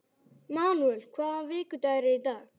Manúel, hvaða vikudagur er í dag?